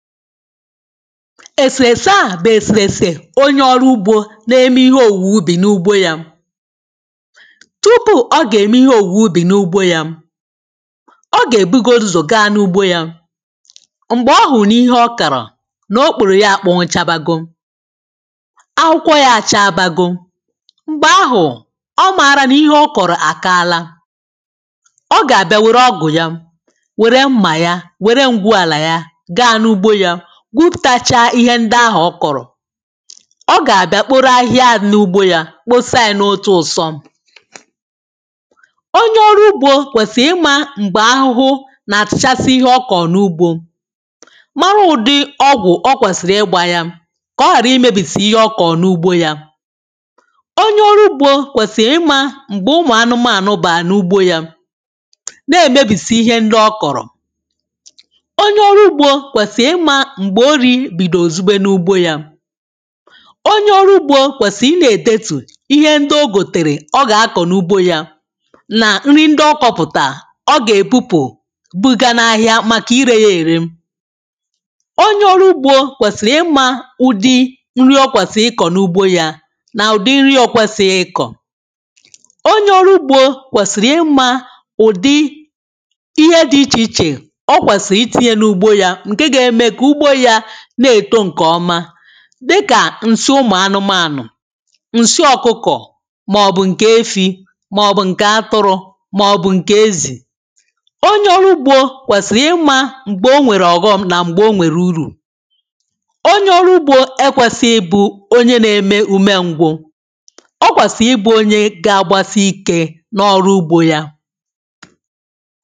Èsèrèse à bụ̀ èsèrèsè onye ọrụ ugbō na-eme ihe òwùubì n’ugbo ya. tupuu ọ gà-ème ihe òwùubi n’ugbo ya ọ gà-èbugo ụzọ̀ ga n’ugbo ya. m̀gbè ọ hụ̀ nà ihe ọ kàrọ̀ nà okpòrò ya àkpọnwụchabago akwụkwọ ya àchaabago, m̀gbè ahụ̀ ọ maara nà ihe ọ kọ̀rọ̀ àkaala. ọ gà-àbịa wère ọgụ̀ ya, wère mmà ya, wère ǹgwuàlà ya ga n’ugbo yā, gwụpụ̀tacha ihe ndị ahụ̀ ọ kọ̀rọ̀ ọ gà-àbịa kporo ahịhịa ahụ̀ n’ugbo yā kposa yā n’otū ụsọ. onye ọrụ̄ ugbō kwèsì ịmā m̀gbè ahụhụ nà-àtachasị ihe ọ kọ n’ugbō, mara ụ̀dị ọgwụ̀ o kwèsìrì ịgbā ya kà ọ ghàrà imēbìsì ihe ọ kọ̀ n’ugbo yā. onye ọrụ ugbō kwèsì ịmā m̀gbè ụmụ̀ anụmanụ̀ bà n’ugbo yā na-èmebìsị ihe ndị ọ kọ̀rọ̀. onye ọrụ ugbō kwèsì ịmā m̀gbè orī bìdò zube n’ugbo yā. onye ọrụ ugbō kwèsì ịnā-èdetù ihe ndị o gòtèrè ọ gà-akọ̀ n’ugbo yā nà nri ndị ọ kọpụ̀tà ọ gà-èbupụ̀ buga n’ahịa màkà irē ya ère. onye ọrụ ugbō kwèsìrì ịmā ụdị nri o kwèsì ịkọ̀ n’ugbo yā nà ụ̀dị nri o kwēsighị ịkọ̀. onye ọrụ ugbō kwèsìrì ịmā ụ̀dị ihe dị̄ ichè ichè o kwèsì itīnye n’ugbo ya ǹke ga-eme kà ugbo ya na-èto ǹke ọma dị kà ǹsị ụmụ̀ anụmanụ̀, nsị ọkụkọ̀ màòbù ǹkè efī màọ̀bụ̀ ǹkè atụrụ̄, màọ̀bụ̀ ǹkè ezì. onye ọrụ ugbō kwèsìrì ịmā m̀gbè o nwèrè ọ̀ghọ́m nà m̀gbè o nwèrè urù. onye ọrụ ugbō ekwēsighị ịbụ̄ onye na-eme ume ngwụ o kwèsì ịbụ̄ onye ga-agbasi ikē n’ọrụ ugbō ya